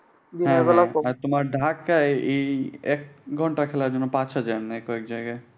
হ্যাঁ হ্যাঁ তোমার ঢাকায় এই এক ঘন্টায় খেলায় মনে হয় পাঁচ হাজার নেয় কয়েক জায়গায়।